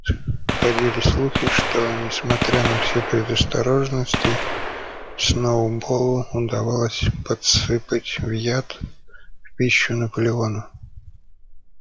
ходили слухи что несмотря на все предосторожности сноуболлу удалось подсыпать в яд в пищу наполеону